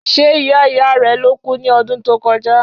Ṣe ìyá ìyá rẹ ló kú ní ọdún tó kọjá?